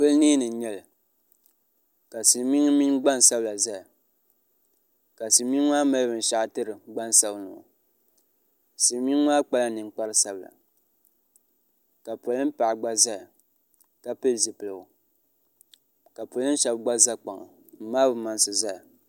pɔli nee ni n nyɛli ka silmiingi mini gbansabila ʒɛya ka silmiingi maa mali binshaɣu tiri gbansabinli ŋɔ silmiingi maa kpala ninkpari sabila ka polin paɣa gba ʒɛya ka pili zipiligu ka polin shab gba ʒɛya n maai bi mansi ʒɛya